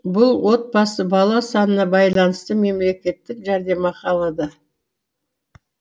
бұл отбасы бала санына байланысты мемлекеттік жәрдемақы алады